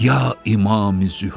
Ya İmam-i Zühur!